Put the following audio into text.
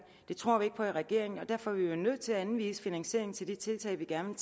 det tror vi ikke på i regeringen og derfor er vi jo nødt til at anvise finansiering til de tiltag vi gerne